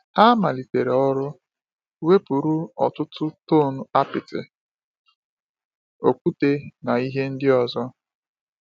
Ha malitere ọrụ, wepụrụ ọtụtụ tọn apịtị, okwute, na ihe ndị ọzọ.